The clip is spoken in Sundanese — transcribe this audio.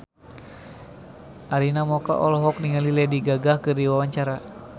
Arina Mocca olohok ningali Lady Gaga keur diwawancara